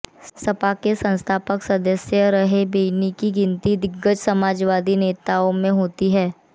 सपा के संस्थापक सदस्य रहे बेनी की गिनती दिग्गज समाजवादी नेताओं में होती थी